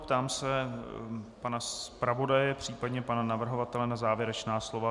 Ptám se pana zpravodaje, případně pana navrhovatele na závěrečná slova.